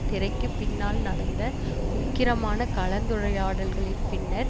திரைக்கு பின்னால் நடந்த உக்கிரமான கலந்துரையாடல்களின் பின்னர்